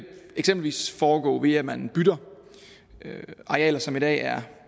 eksempelvis foregå ved at man bytter arealer som i dag er